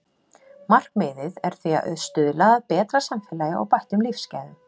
Markmiðið er því að stuðla að betra samfélagi og bættum lífsgæðum.